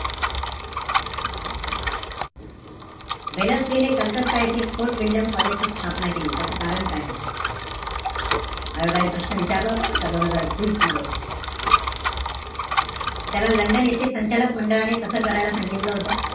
Wellesley ने कलकत्ता येथे, fort William कॉलेजची स्थापना केली. त्याच कारण काय होतं? आयोगाने प्रश्न विचारला होता बरं का दोन हजार एकवीस मध्ये. त्याला लंडन येथे संचालक मंडळाने तस करायला सांगितलं होतं.